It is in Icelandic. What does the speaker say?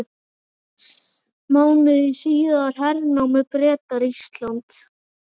Mánuði síðar hernámu Bretar Ísland.